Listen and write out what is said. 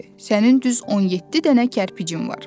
Sənin düz 17 dənə kərpicin var.